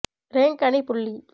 rank அணி புள்ளி